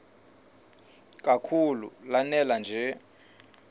kakhulu lanela nje